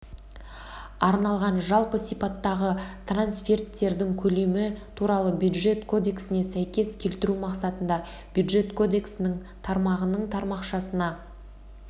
арналған жалпы сипаттағы трансферттердің көлемі туралы бюджет кодексіне сәйкес келтіру мақсатында бюджет кодексінің тармағының тармақшасына